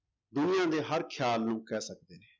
ਦੁਨੀਆਂ ਦੇ ਹਰ ਖਿਆਲ ਨੂੰ ਕਹਿ ਸਕਦੇ ਨੇ।